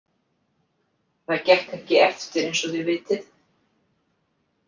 Það gekk ekki eftir eins og þið vitið.